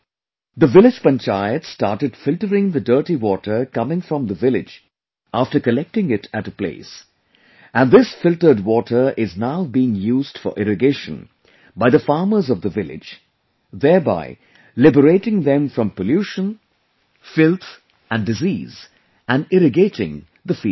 The village Panchayat started filtering the dirty water coming from the village after collecting it at a place, and this filtered water is now being used for irrigation by the farmers of the village, thereby, liberating them from pollution, filth and disease and irrigating the fields too